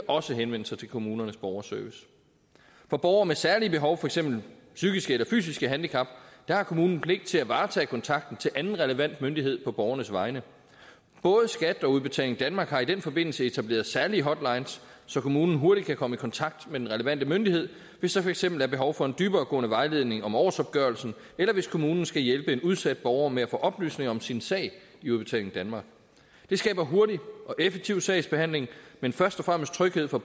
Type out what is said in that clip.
også henvende sig til kommunernes borgerservice for borgere med særlige behov for eksempel psykiske eller fysiske handicap har kommunen pligt til at varetage kontakten til anden relevant myndighed på borgernes vegne både skat og udbetaling danmark har i den forbindelse etableret særlige hotlines så kommunen hurtigt kan komme i kontakt med den relevante myndighed hvis der for eksempel er behov for en dyberegående vejledning om årsopgørelsen eller hvis kommunen skal hjælpe en udsat borger med at få oplysninger om sin sag i udbetaling danmark det skaber hurtig og effektiv sagsbehandling men først og fremmest tryghed for